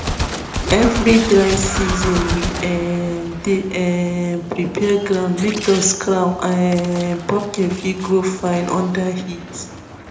every dry season we um dey um prepare ground make dust crown um pumpkin fit grow fine under heat